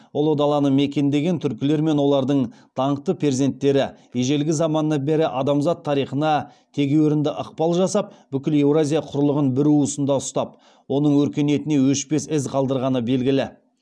ұлы даланы мекендеген түркілер мен олардың даңқты перзенттері ежелгі заманнан бері адамзат тарихына тегеурінді ықпал жасап бүкіл еуразия құрлығын бір уысында ұстап оның өркениетіне өшпес із қалдырғаны белгілі